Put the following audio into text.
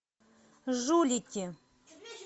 жулики